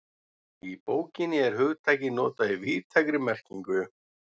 Í bókinni er hugtakið notað í víðtækri merkingu.